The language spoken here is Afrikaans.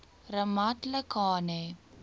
ramatlakane